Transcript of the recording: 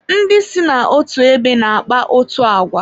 Ndị si n'otu ebe na-akpa otú àgwà